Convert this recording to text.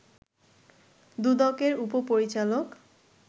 দুদকের উপপরিচালক